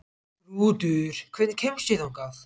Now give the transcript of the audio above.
Þrútur, hvernig kemst ég þangað?